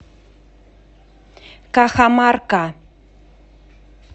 кахамарка